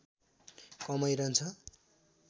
कमै रहन्छ